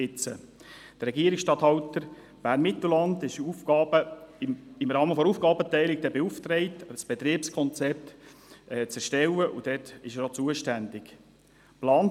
Der Regierungsstatthalter Bern-Mittelland wird dann im Rahmen der Aufgabenteilung beauftragt, ein Betriebskonzept zu erstellen und ist auch zuständig dafür.